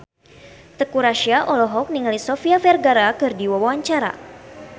Teuku Rassya olohok ningali Sofia Vergara keur diwawancara